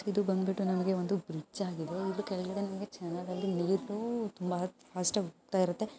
ಇದು ಬಂದ್ಬಿಟ್ಟು ನಮಗೆ ಒಂದು ಬ್ರಿಡ್ಜ್ ಆಗಿದೆ ಕೆಳಗಡೆನುವೇ ಚೆನ್ನಾಗಿ ಇದು ತುಂಬಾ ಫಾಸ್ಟ್ ಆಗಿ ಹೋಗ್ತಾ ಇರುತ್ತೆ.